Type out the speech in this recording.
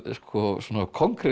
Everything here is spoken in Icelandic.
svona